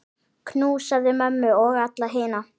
Knúsaðu mömmu og alla hina.